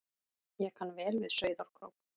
Ég kann vel við Sauðárkrók.